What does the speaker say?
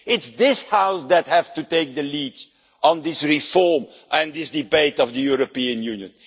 It is this House that has to take the lead on this reform and this debate on the European Union.